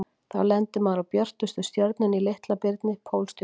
Þá lendir maður á björtustu stjörnunni í Litla-birni, Pólstjörnunni.